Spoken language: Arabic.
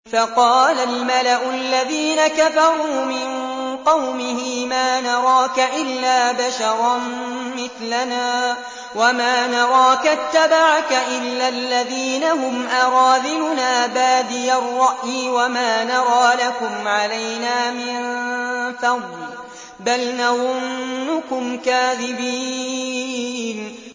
فَقَالَ الْمَلَأُ الَّذِينَ كَفَرُوا مِن قَوْمِهِ مَا نَرَاكَ إِلَّا بَشَرًا مِّثْلَنَا وَمَا نَرَاكَ اتَّبَعَكَ إِلَّا الَّذِينَ هُمْ أَرَاذِلُنَا بَادِيَ الرَّأْيِ وَمَا نَرَىٰ لَكُمْ عَلَيْنَا مِن فَضْلٍ بَلْ نَظُنُّكُمْ كَاذِبِينَ